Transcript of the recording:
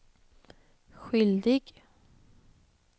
skyldig